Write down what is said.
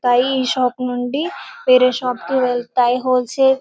దొరుకుతాయి ఈ షాప్ నుండి వేరే షాప్ కి వెళ్తాయి హోల్ సేల్ --